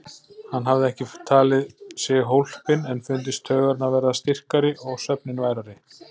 Hann hafði ekki talið sig hólpinn en fundist taugarnar verða styrkari og svefninn værari.